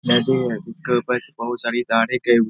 नदी है जिसके ऊपर से बोहुत सारी गई हु --